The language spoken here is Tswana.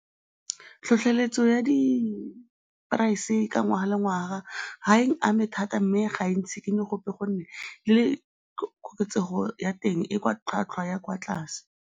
Tlhotlheletso ya di-price-e ka ngwaga le ngwaga ga eng ame thata mme ga e ntshikinye gope gonne le koketsego ya teng e kwa tlhwatlhwa ya kwa tlase.